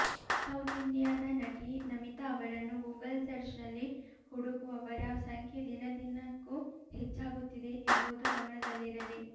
south ಇಂಡಿಯಾದ ನಟಿ ನಮಿತಾ ಅವರನ್ನು ಗೂಗಲ್ ಸರ್ಜ್ ನಲ್ಲಿ ಹುಡುಕುವವರ ಸಂಖ್ಯೆ ದಿನದಿನಕ್ಕೂ ಹೆಚ್ಚಾಗುತ್ತಿದೆ ಎಂಬುದು ಗಮನದಲ್ಲಿರಲಿ